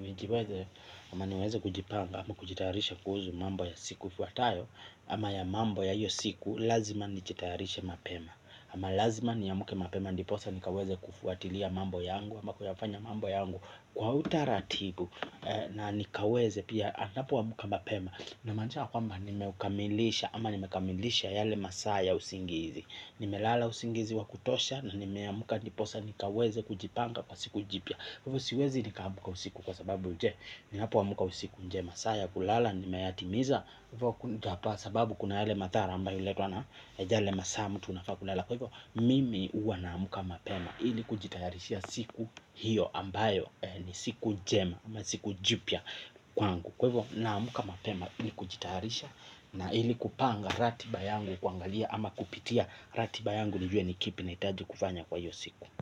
nijiweze, ama niweze kujipanga, ama kujitarisha kuhusu mambo ya siku ifuatayo, ama ya mambo ya iyo siku, lazima nijitarisha mapema. Ama lazima niamke mapema, ndiposa nikaweze kufuatilia mambo yangu, ama kuyafanya mambo yangu. Kwa utaratibu, na nikaweze pia anapoamka mapema. Namaanisha kwamba nimeukamilisha, ama nimekamilisha yale masaa yale ya usingizi. Nimelala usingizi wa kutosha na nimeamka ndiposa nikaweze kujipanga kwa siku jipya kwa hivyo siwezi niamka usiku kwa sababu je ninapoamka usiku je maa ya kulala nimeyatimiza kwa hivyo sababu kuna yale mathara ambayo huletwa na ja yale masaa mtu anafaa kulala kwa hivyo mimi huwa naamka mapema ili kujitayarishia siku hiyo ambayo ni siku jipya kwangu kwa hivyo naamka mapema ili kujitayarisha na ili kupanga ratiba yangu kuangalia ama kupitia ratiba yangu nijue ni kipi nahitaju kufanya kwa iyo siku.